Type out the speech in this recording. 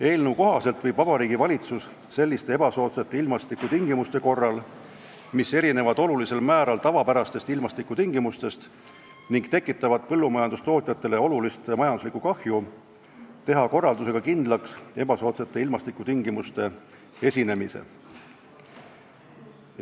Eelnõu kohaselt võib Vabariigi Valitsus selliste ebasoodsate ilmastikutingimuste korral, mis erinevad olulisel määral tavapärastest ilmastikutingimustest ning tekitavad põllumajandustootjatele olulist majanduslikku kahju, teha korraldusega kindlaks ebasoodsate ilmastikutingimuste esinemise.